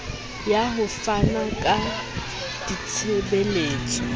ya ho fana ka ditshebeletso